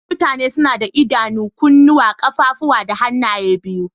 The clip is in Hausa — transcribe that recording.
Mutane suna da Idanu, kunuwa, kaffafuwa da hanaye biyu.